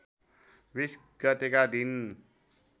२० गतेका दिन